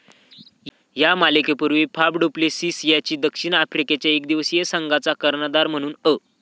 या मालिकेपूर्वी Faf du Plessis याची दक्षिण आफ्रिकेच्या एकदिवसीय संघचा कर्णधार म्हणून अ.